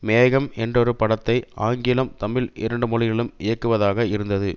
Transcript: மேகம் என்றொரு படத்தை ஆங்கிலம் தமிழ் இரண்டு மொழிகலும் இயக்குவதாக இருந்தது